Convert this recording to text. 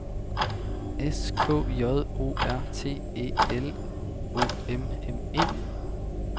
S K J O R T E L O M M E